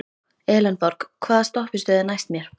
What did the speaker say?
Elenborg, hvaða stoppistöð er næst mér?